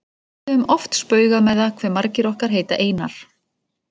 Við höfum oft spaugað með það hve margir okkar heita Einar.